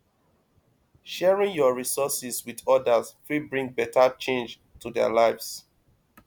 sharing yur resources with odas fit bring beta change to their lives